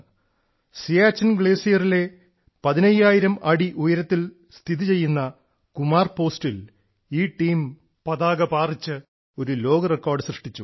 സിയാച്ചിൻ ഗ്ലേസിയറിലെ 15000 അടി ഉയരത്തിൽ സ്ഥിതിചെയ്യുന്ന കുമാർ പോസ്റ്റിൽ ഈ ടീം പതാക പാറിച്ച് ഒരു ലോക റെക്കോർഡ് സൃഷ്ടിച്ചു